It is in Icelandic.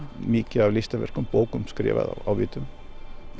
mikið af listaverkum bókum skrifaðar á vitum